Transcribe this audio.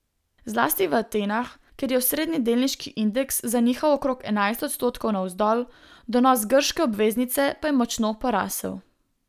Zlasti v Atenah, kjer je osrednji delniški indeks zanihal okrog enajst odstotkov navzdol, donos grške obveznice pa je močno porasel.